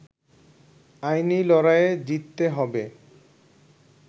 আইনি লড়াইয়ে জিততে হবে